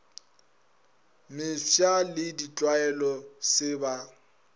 mefsa le ditlwaelo se ba